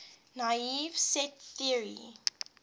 naive set theory